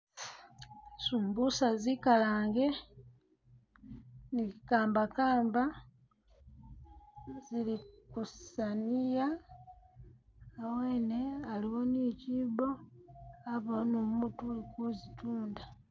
Sumbusa zikalange ni kambakamba zili kusaniya hawene haiwo ni kyiibo habawo ni umutu uli kuzitunda.